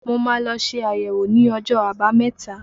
Mo ma lọ ṣe àyẹ̀wò ní ọjọ́ àbámẹ̀ta.